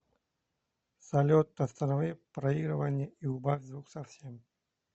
салют останови проигрывание и убавь звук совсем